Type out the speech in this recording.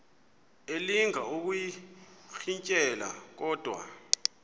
elinga ukuyirintyela kodwa